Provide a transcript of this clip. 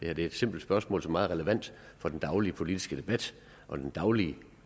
er et simpelt spørgsmål som er meget relevant for den daglige politiske debat og den daglige